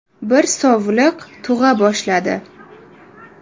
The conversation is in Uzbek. Bir sovliq tug‘a boshladi.